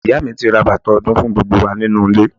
Ìyá mi ti ra bàtà ọdún fún gbogbo wa nínú ilé.